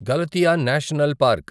Galatia National park